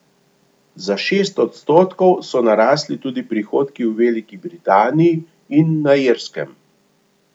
Za šest odstotkov so narasli tudi prihodki v Veliki Britaniji in na Irskem.